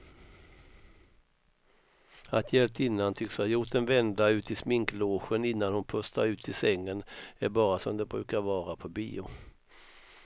Att hjältinnan tycks ha gjort en vända ut i sminklogen innan hon pustar ut i sängen är bara som det brukar vara på bio.